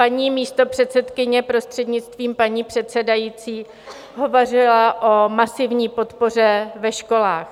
Paní místopředsedkyně, prostřednictvím paní předsedající, hovořila o masivní podpoře ve školách.